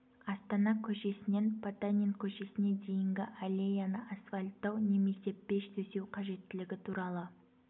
астана көшесінен потанин көшесіне дейінгі аллеяны асфальттау немесе пеш төсеу қажеттілігі туралы